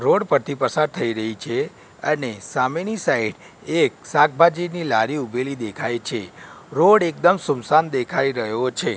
Road પરથી પસાર થઈ રહી છે અને સામેની સાઈડ એક શાકભાજીની લારી ઉભેલી દેખાય છે રોડ એકદમ સૂમસામ દેખાય રહ્યો છે.